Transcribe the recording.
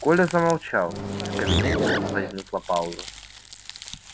коля замолчал и в кабинете возникла пауза